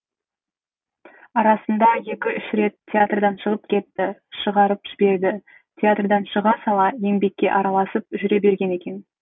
арасында екі үш рет театрдан шығып кетті шығарып жіберді театрдан шыға сала еңбекке араласып жүре берген екен